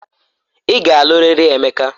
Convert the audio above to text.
Ị ga-alụ riri Emeka!